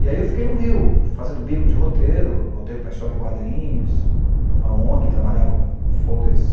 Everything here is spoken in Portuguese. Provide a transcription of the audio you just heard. E aí eu fiquei no Rio, fazendo bico de roteiro, roteiro para história em quadrinhos, para uma ong que trabalhava com com folders